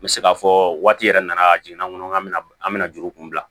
N bɛ se k'a fɔ waati yɛrɛ nana jiginn'an kɔnɔ k'an bɛ na an bɛna juru kun bila